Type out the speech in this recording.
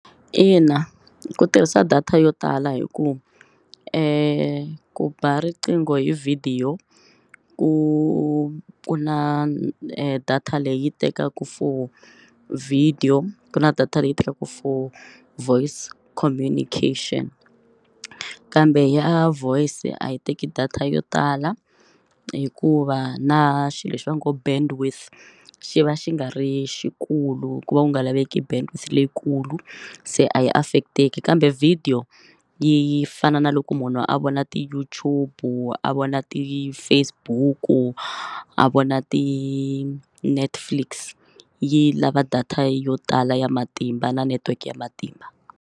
Ina, ku tirhisa data yo tala hi ku ku ba riqingho hi vhidiyo ku ku na data leyi tekaka for video ku na data leyi tekaka for voice communication kambe ya voice a yi teki data yo tala hikuva na xilo lexi va ngo bandwidth xi va xi nga ri xikulu ku va ku nga laveki bandwidth leyikulu se a yi affect-eki kambe video yi fana na loko munhu a vona ti-YouTube, a vona ti-Facebook, a vona ti-Netflix yi lava data yo tala ya matimba na network ya matimba.